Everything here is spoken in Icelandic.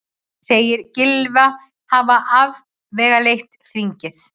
Segir Gylfa hafa afvegaleitt þingið